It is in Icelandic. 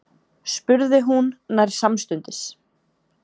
spurði hún nær samstundis.